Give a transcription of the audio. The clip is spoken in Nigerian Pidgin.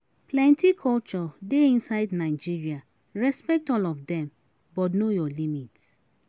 Plenty culture de inside Nigeria respect all of dem but know your limits